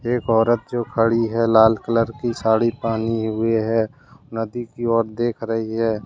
एक औरत जो खड़ी है लाल कलर की साड़ी पानी हुई है नदी की ओर देख रही है।